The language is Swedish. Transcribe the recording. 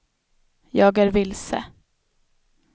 jag är vilse